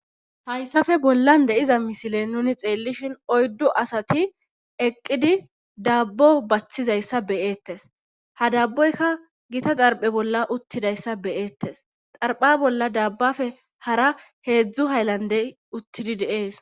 hayssafe bollan de iza misile nuni xeellishin oyddu asati eqqidi dabbo baththizayssa beyeettes ha dabboyka gita darphe bolla uttidayssa beyeettes xarpha bolla dabbafe hara heedzdzu haylandey uttidi deees